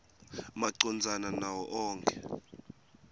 macondzana nawo onkhe